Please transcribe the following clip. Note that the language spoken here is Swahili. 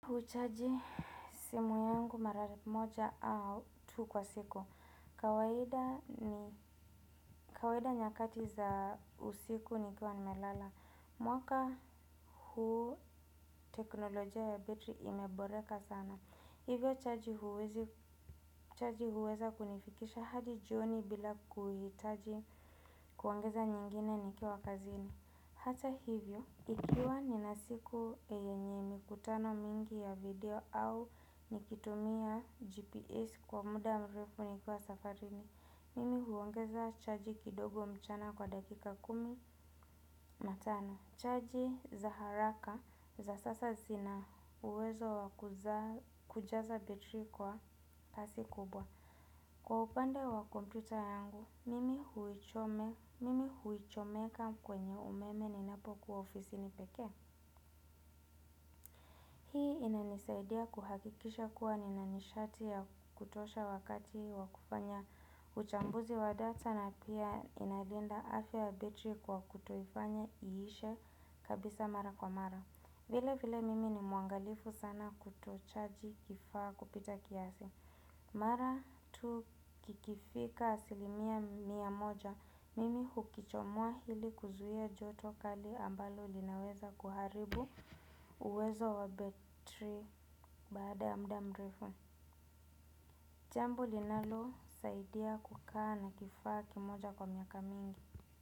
Huchaji simu yangu mara moja au tu kwa siku. Kawaida ni kawaida nyakati za usiku nikiwa nimelala. Mwaka huu teknolojia ya betri imeboreka sana. Hivyo chaji huweza kunifikisha hadi jioni bila kuhitaji kuongeza nyingine nikiwa kazini. Hata hivyo, ikiwa ninasiku yenye mikutano mingi ya video au nikitumia GPS kwa muda mrefu nikiwa safarini, mimi huongeza chaji kidogo mchana kwa dakika kumi na tano. Chaji za haraka za sasa zinauwezo kujaza betri kwa pasi kubwa. Kwa upande wa kompyuta yangu, mimi huichomeka kwenye umeme ni napokuwa ofisini pekee. Hii inanisaidia kuhakikisha kuwa ninanishati ya kutosha wakati wakufanya uchambuzi wa data na pia inalinda afya betri kwa kutoifanya iishe kabisa mara kwa mara. Vile vile mimi ni mwaangalifu sana kutochaji kifaa kupita kiasi. Mara tu kikifika asilimia mia moja, mimi hukichomua hili kuzuia joto kali ambalo linaweza kuharibu uwezo wa betri bada muda mrefu. Jambo linalo saidia kukaa na kifaa kimoja kwa miaka mingi.